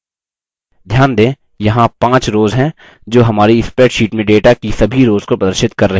ध्यान दें यहाँ 5 rows हैं जो हमारी spreadsheet में data की सभी rows को प्रदर्शित कर रही हैं